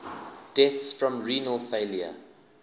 deaths from renal failure